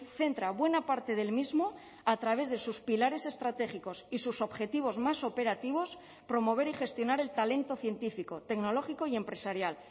centra buena parte del mismo a través de sus pilares estratégicos y sus objetivos más operativos promover y gestionar el talento científico tecnológico y empresarial